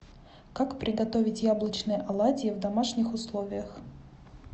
как приготовить яблочные оладьи в домашних условиях